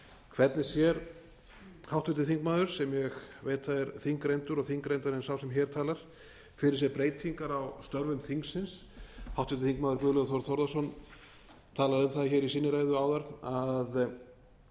hvernig sér háttvirtur þingmaður sem ég veit að er þingreyndur og þingreyndari en sá sem hér talar fyrir sér breytingar á störfum þingsins háttvirtur þingmaður guðlaugur þór þórðarson talaði um það hér í sinni ræðu áðan að